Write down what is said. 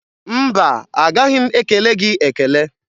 Mba, agaghị m ekele gị ekele.